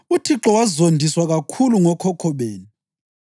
“ UThixo wazondiswa kakhulu ngokhokho benu.